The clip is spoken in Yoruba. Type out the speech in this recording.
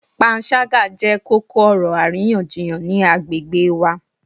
Panṣaga jẹ koko-ọrọ ariyanjiyan ni agbegbe wa